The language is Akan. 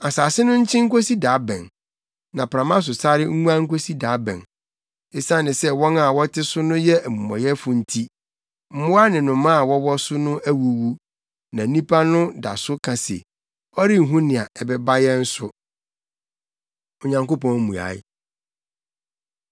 Asase no nkyen nkosi da bɛn na prama so sare nguan nkosi da bɛn? Esiane sɛ wɔn a wɔte so no yɛ amumɔyɛfo nti mmoa ne nnomaa a wɔwɔ so awuwu. Na nnipa no da so ka se, “Ɔrenhu nea ɛba yɛn so.” Onyankopɔn Mmuae